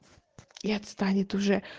и отстанет уже